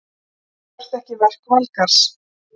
Stefanía gjörþekki verk Valgarðs.